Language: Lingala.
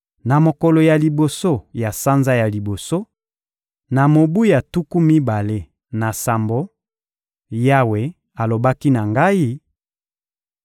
Na mokolo ya liboso ya sanza ya liboso, na mobu ya tuku mibale na sambo, Yawe alobaki na ngai: